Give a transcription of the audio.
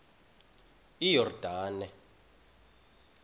iyordane